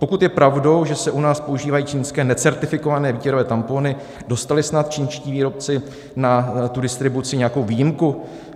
Pokud je pravdou, že se u nás používají čínské necertifikované výtěrové tampony, dostali snad čínští výrobci na tu distribuci nějakou výjimku?